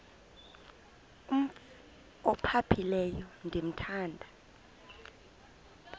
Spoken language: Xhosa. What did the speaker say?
umf ophaphileyo ndithanda